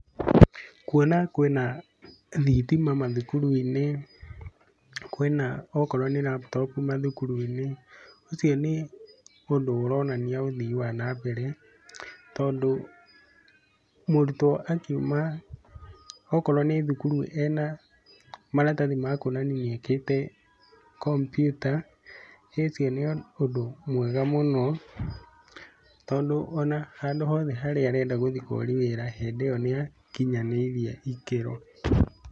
Kuona kwĩna, thitima mathukuru-inĩ, kwĩna akorwo nĩ laptop mathukuru-inĩ, ũcio nĩ ũndũ ũronania ũthii wa nambere, tondũ, murutwo akiuma, okorũo nĩ thukurũ ena maratathi ma kuonania nĩekĩte kombiuta, ũcio nĩ ũndũ mwega mũno, tondũ ona handũ hothe harĩa arenda gũthiĩ kũria wĩra hĩndĩ ĩyo nĩakinyanĩirie ikĩro.